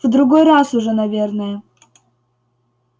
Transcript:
в другой раз уже наверное